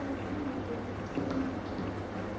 Ai meu Deus, deixa que eu entro aqui.